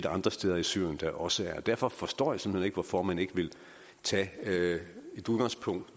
andre steder i syrien der også er derfor forstår jeg simpelt hen ikke hvorfor man ikke vil tage som udgangspunkt